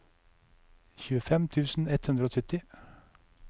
tjuefem tusen ett hundre og sytti